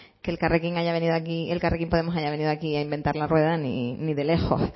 que elkarrekin haya venido aquí a inventar la rueda ni de lejos